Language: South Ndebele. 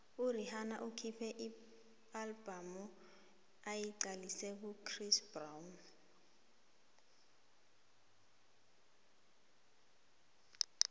urhihana ukhuphe ialbum ayiqalise kuchris brown